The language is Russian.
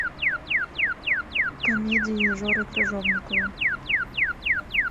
комедии жоры крыжовникова